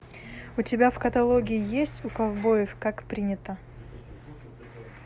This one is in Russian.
у тебя в каталоге есть у ковбоев как принято